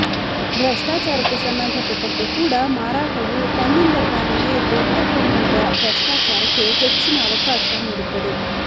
ಭೃಷ್ಟಾಚಾರಕ್ಕೆ ಸಂಬಂಧಪಟ್ಟಂತೆ ಕೂಡ ಮಾರಾಟವು ತನ್ನಿಂದ ತಾನೆಯೇ ದೊಡ್ಡ ಪ್ರಮಾಣದ ಭೃಷ್ಟಾಚಾರಕ್ಕೆ ಹೆಚ್ಚಿನ ಅವಕಾಶ ನೀಡುತ್ತದೆ